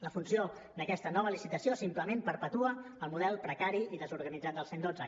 la funció d’aquesta nova licitació simplement perpetua el model precari i desorganitzat del cent i dotze